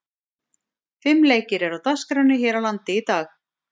Fimm leikir eru á dagskránni hér á landi í dag.